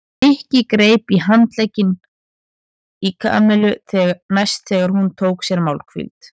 Nikki greip í handlegginn í Kamillu næst þegar hún tók sér málhvíld.